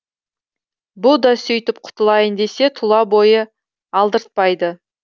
бұ да сөйтіп құтылайын десе тұла бойы алдыртпайды